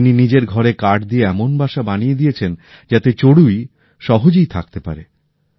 ইনি নিজের ঘরে কাঠ দিয়ে এমন বাসা বানিয়ে দিয়েছেন যাতে চড়ুই সহজেই থাকতে পারে